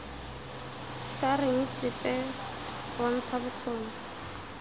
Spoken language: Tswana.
sa reng sepe bontsha bokgoni